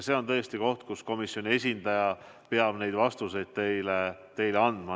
See on tõesti koht, mille kohta komisjoni esindaja peab teile vastused andma.